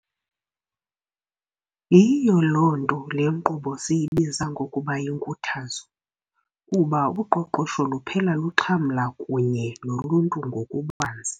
Yiyo loo nto le nkqubo siyibiza ngokuba yinkuthazo, kuba uqoqosho luphela luxhamla kunye noluntu ngokubanzi.